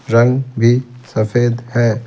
रंग भी सफेद है।